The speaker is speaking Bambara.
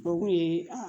O kun ye